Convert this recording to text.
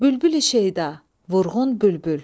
Bülbül-i-şüəda, vurğun bülbül.